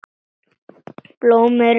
Blómin eru bleik í sveip.